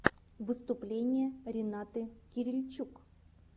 выступление ренаты кирильчук